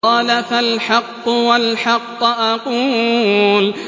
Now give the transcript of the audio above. قَالَ فَالْحَقُّ وَالْحَقَّ أَقُولُ